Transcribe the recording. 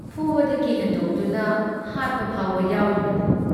ꯐꯨꯕꯗꯒꯤ ꯍꯦꯟꯗꯣꯛꯇꯨꯅ ꯍꯥꯠꯄ ꯐꯥꯎꯕ ꯌꯥꯎꯔꯤꯕꯅꯤ ꯫